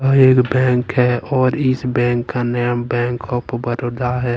अ एक बैंक है और इस बैंक का नाम बैंक ऑफ़ बड़ोदा है।